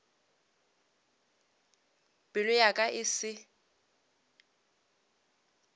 pelo ya ka e se